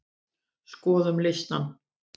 Skoðum listann!